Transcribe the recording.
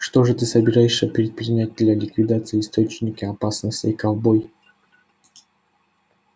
что же ты собираешься предпринять для ликвидации источника опасности ковбой